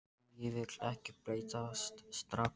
Og ég vil ekki breytast strax.